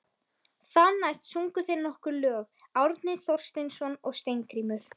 Þar næst sungu þeir nokkur lög, Árni Thorsteinsson og Steingrímur